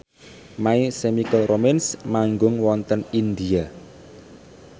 My Chemical Romance manggung wonten India